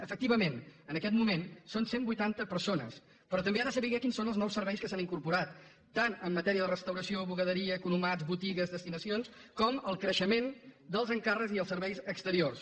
efectivament en aquest moment són cent vuitanta persones però també ha de saber quins són els nous serveis que s’han incorporat tant en matèria de restauració bugaderia economat botigues destinacions com en el creixement dels encàrrecs i els serveis exteriors